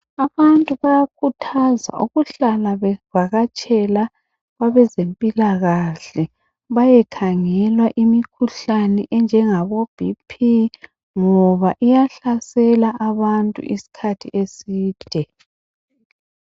Abantu bayakhuthazwa ukuhlala bevakatshela abezempilakahle bayekhangelwa imikhuhlane enjengabo BP ngoba iyahlasela abantu isikhathi eside